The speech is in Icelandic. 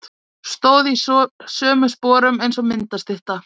Stóð í sömu sporum eins og myndastytta.